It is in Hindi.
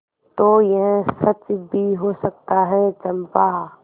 तो यह सच भी हो सकता है चंपा